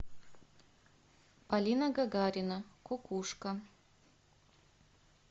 полина гагарина кукушка